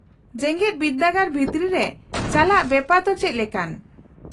-ᱡᱮᱜᱮᱫ ᱵᱤᱨᱫᱟᱹᱜᱟᱲ ᱵᱷᱤᱛᱨᱤ ᱨᱮ ᱪᱟᱞᱟᱜ ᱵᱮᱯᱟᱨ ᱫᱚ ᱪᱮᱫ ᱞᱮᱠᱟᱱ ?